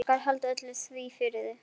Ég skal halda því öllu fyrir mig.